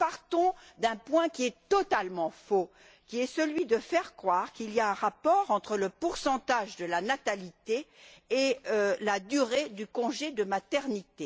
Nous partons d'un point qui est totalement faux, qui consiste à faire croire qu'il y a un rapport entre le taux de natalité et la durée du congé de maternité.